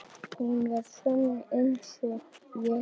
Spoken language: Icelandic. Hún er sönn einsog ég.